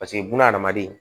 Paseke buna adamaden